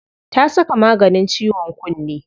Ta saka maganin ciwon kunne.